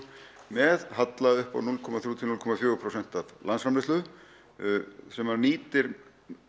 með halla upp á núll komma þrjú til núll komma fjögur prósent af landsframleiðslu sem nýtir